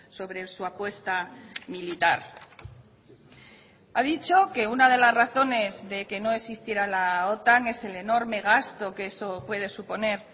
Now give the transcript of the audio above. sobre su apuesta militar ha dicho que una de las razones de que no existiera la otan es el enorme gasto que eso puede suponer